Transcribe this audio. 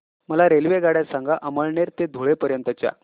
मला रेल्वेगाड्या सांगा अमळनेर ते धुळे पर्यंतच्या